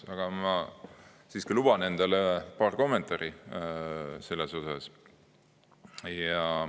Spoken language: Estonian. Aga ma siiski luban endale paar kommentaari selle kohta.